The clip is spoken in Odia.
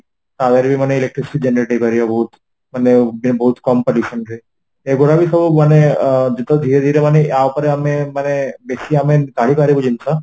power ମାନେ electric generate ହେଇପାରିବ ବହୁତ ମାନେ ବହୁତ କମ permission ରେ ଏ ଗୁଡା ବି ସବୁ ମାନେ ଆଁ ଯେତେବେଳେ ଧୀରେ ଧୀରେ ମାନେ ଆ ଉପରେ ଆମେ ମାନେ ବେଶୀ ଜାଣିପାରିବୁ ଜିନିଷ